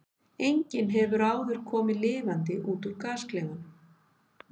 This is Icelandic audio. Enginn hefur áður komið lifandi út úr gasklefanum.